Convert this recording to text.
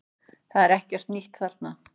Það er ekkert nýtt þarna